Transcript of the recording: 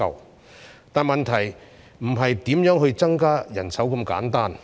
不過，問題不僅是如何增加人手那麼簡單。